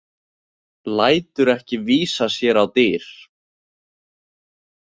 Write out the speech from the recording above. Lætur ekki vísa sér á dyr.